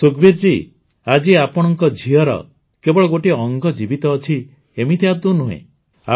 ସୁଖବୀର ଜୀ ଆଜି ଆପଣଙ୍କ ଝିଅର କେବଳ ଗୋଟିଏ ଅଙ୍ଗ ଜୀବିତ ଅଛି ଏମିତି ଆଦୌ ନୁହେଁ